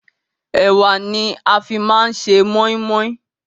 Ẹ̀wá ni a fi máa ń ṣe moin-moin